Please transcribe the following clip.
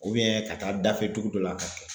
ka taa dafɛ dugu dɔ la ka kɛ